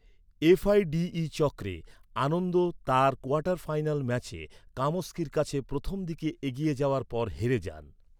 F I D E চক্রে, আনন্দ তার quarter final ম্যাচে কামস্কির কাছে প্রথম দিকে এগিয়ে যাওয়ার পর হেরে যান।